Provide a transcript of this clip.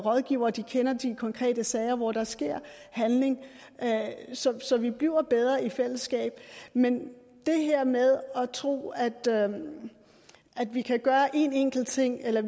og rådgiver og de kender de konkrete sager hvor der sker handling så vi bliver bedre i fællesskab men det her med at tro at vi kan gøre én enkelt ting eller